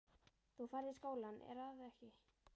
Þú ferð í skólann, er að ekki?